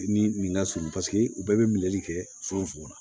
Ni nin lasurun paseke u bɛɛ be minɛli kɛ fogofogo la